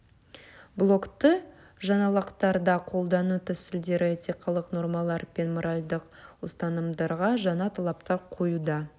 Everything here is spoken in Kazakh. блогты жаңалықтарда қолдану тәсілдері этикалық нормалар мен моральдық ұстанымдарға жаңа талаптар қоюда